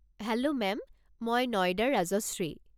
Hello ma'am, মই নয়দাৰ ৰাজশ্ৰী।